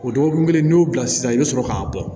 O dɔgɔkun kelen n'i y'o bila sisan i bɛ sɔrɔ k'a bɔ